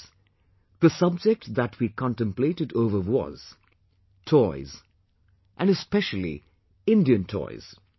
Friends, the subject that we contemplated over was toys and especially Indian toys